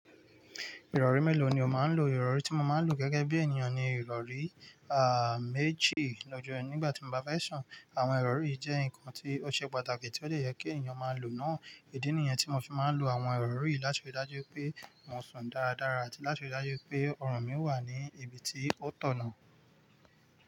Ìrọ̀rí mélòó ni o máa ń lo? Ìrọ̀rí tí mo máa ń lo gẹ́gẹ́ bí ènìyàn ni ìrọ̀rí, à, méjì lọ́jọ́ ẹ nígbà tí mo bá fẹ́ sùn. Àwọn ìrọ̀rí jẹ́ nǹkan tí ó ṣe pàtàkì tí ó dè yẹ kí ènìyàn máa lò náà. Ìdí nìyẹn tí mo fi máa ń lo àwọn ìrọ̀rí láti ríi dájú pé mo sùn dáradára àti láti ríi dájú pé ọrùn mi wà ní ibi tí ó tọ̀ náà.